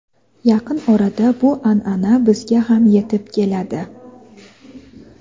yaqin orada bu an’ana bizga ham yetib keladi.